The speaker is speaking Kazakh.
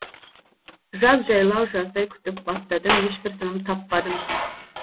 жаз жайлау жаздай күтіп баптадым ешбір тыным таппадым